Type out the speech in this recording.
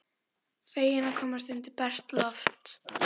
Feginn að komast út undir bert loft.